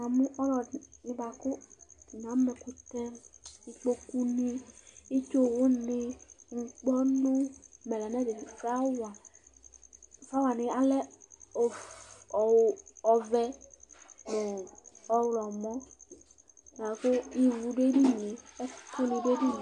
Ɔlɔdɩnɩ bʋakʋ atani ama ɛkʋtɛIkpokuni, itsuwuni, ŋkpɔnʋ, flawa Flawa wani ale ɔvɛ nʋ ɔɣlɔmɔ lakʋ ivu dʋ edini yɛ, ɛkʋ ni dʋ edini yɛ